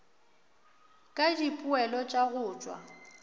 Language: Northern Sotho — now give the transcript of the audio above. ka dipoelo tša go tšwa